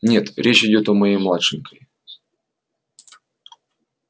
нет речь идёт о моей младшенькой